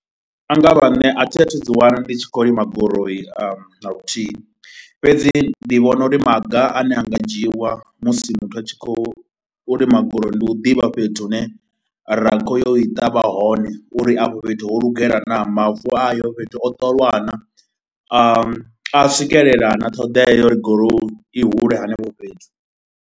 A nga vha nṋe a thi a thu dzi wana ndi tshi khou lima gurowu na luthihi fhedzi ndi vhona uri maga ane a nga dzhiiwa musi muthu a tshi khou lima gurowu ndi u ḓivha fhethu hune ra khou ya u i ṱavha hone uri afho fhethu ho lugela naa, mavu ayo fhethu o ṱoliwa naa, a a swikelela na ṱhoḓea uri gurowu uri i hule hanefho fhethu.